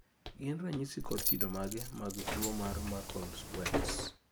gin ranyisi kod kido mage mag tuwo mar muckle wells?